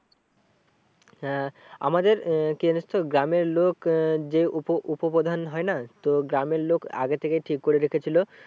হ্যাঁ আমাদের আহ কি জানিস তো গ্রামের লোক আহ যে উপ উপপ্রধান হয় না তো গ্রামের লোক আগে থেকেই ঠিক করে রেখেছিলো